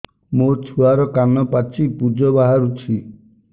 ମୋ ଛୁଆର କାନ ପାଚି ପୁଜ ବାହାରୁଛି